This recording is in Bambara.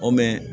O